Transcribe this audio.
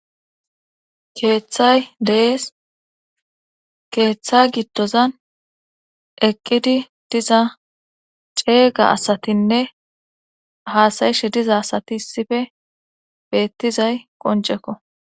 keeththay de'es keeththa giddozan eqqidi diza ceega asatinne haasayishe diza asati issife beettizay qoncekko